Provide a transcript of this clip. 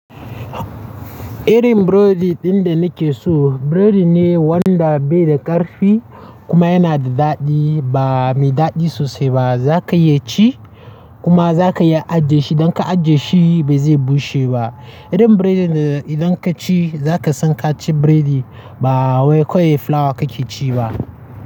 Irin burodi ɗin da nake so, burodi ne wanda bai da ƙarfi kuma yana da daɗi ba, mai daɗi sosai ba. Za ka iya ci kuma za ka iya ajiye shi. Dan ka ajiye shi ba zai bushe ba. Irin burodin idan ka ci za ka san ka ci burodi ba wai kawai fulawa ka ke ci ba.